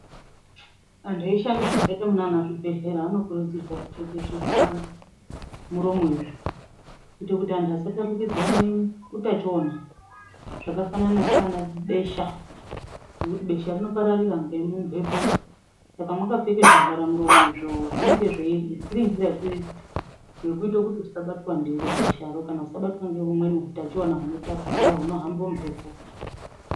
Antu anoshanda zvakaita munana chibhedhlera anokurudzirwa kupfeke zvivhara muromo izvo. Kuite kuti antu asatapukidzirane utachiona zvakafanana sana besha ngekuti besha rinoparaira ngemumhepo. Saka makapfeke zvivhara muromo izvo zvinenge zvei irinzira yekuita kuti usabatwa ndiro besharo kana usabatwa ngeumweni hutachivana hunotapukira hunohamba ngemhepo.